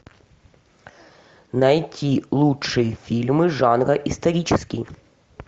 найти лучшие фильмы жанра исторический